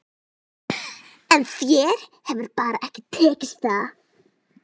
En þér hefur bara ekki tekist það.